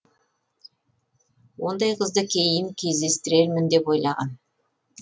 ондай қызды кейін кездестірермін деп ойлаған